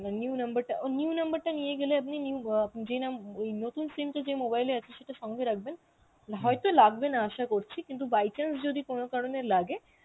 আর new number টা অ্যাঁ new number টা নিয়ে গেলে আপনি new অ্যাঁ ওই নতুন SIM টা যে mobile এ আছে, সেটা সঙ্গে রাখবেন হয়তো লাগবেনা আশা করছি কিন্তু by chance যদি কোন কারনে লাগে